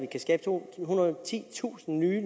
kan skabe tohundrede og titusind nye